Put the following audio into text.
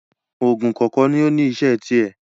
Òògùn kọ̀ọ̀kan ní ó ní iṣẹ́ tirẹ̀